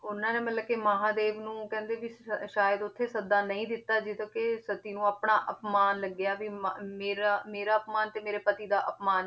ਉਹਨਾਂ ਨੇ ਮਤਲਬ ਕਿ ਮਹਾਂਦੇਵ ਨੂੰ ਕਹਿੰਦੇ ਵੀ ਸ~ ਸ਼ਾਇਦ ਉੱਥੇ ਸੱਦਾ ਨਹੀਂ ਦਿੱਤਾ, ਜਿਸ ਕਿ ਸਤੀ ਨੂੰ ਆਪਣਾ ਅਪਮਾਨ ਲੱਗਿਆ ਵੀ ਮ~ ਮੇਰਾ ਮੇਰਾ ਅਪਮਾਨ ਤੇ ਮੇਰੇ ਪਤੀ ਦਾ ਅਪਮਾਨ